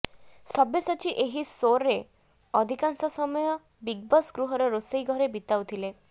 ସବ୍ୟସାଚୀ ଏହି ସୋରେ ଅଧିକାଂଶ ସମୟ ବିଗବସ ଗୃହର ରୋଷେଇ ଘରେ ବିତାଉଥିଲେ